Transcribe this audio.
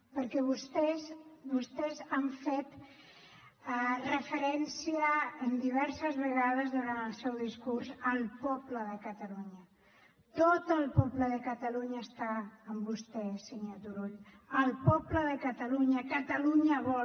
perquè vostès han fet referència diverses vegades durant el seu discurs al poble de catalunya tot el poble de catalunya està amb vostè senyor turull el poble de catalunya catalunya vol